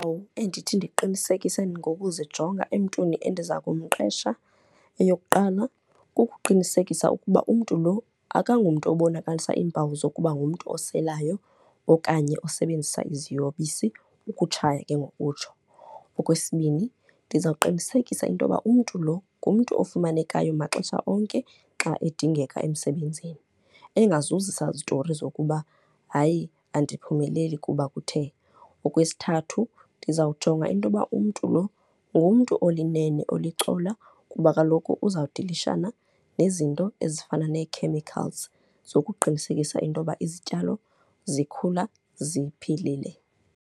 endithi ndiqinisekise nokuzijonga emntwini endiza kumqesha, eyokuqala kukuqinisekisa ukuba umntu lo akangomntu obonakalisa iimpawu zokuba ngumntu oselayo okanye osebenzisa iziyobisi, ukutshaya ke ngokutsho. Okwesibini ndizawuqinisekisa into yokuba umntu lo, ngumntu okufumanekayo maxesha onke xa edingeka emsebenzini, engazuzisa zitori zokuba hayi andiphumeleli kuba kuthe. Okwesithathu ndizawujonga into yokuba umntu lo, ngumntu olinene, olicola kuba kaloku uzawudilishana nezinto ezifana nee-chemicals zokuqinisekisa into yoba izityalo zikhula ziphilile.